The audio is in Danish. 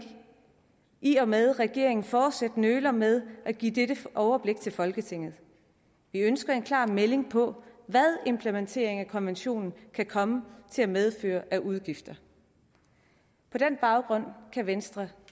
i og med at regeringen fortsat nøler med at give dette overblik til folketinget vi ønsker en klar melding på hvad implementeringen af konventionen kan komme til at medføre af udgifter på den baggrund kan venstre